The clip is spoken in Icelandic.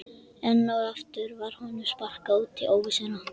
Enn og aftur var honum sparkað út í óvissuna.